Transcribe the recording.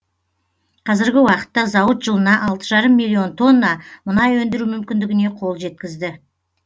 қазіргі уақытта зауыт жылына алты жарым миллион тонна мұнай өндіру мүмкіндігіне қол жеткізді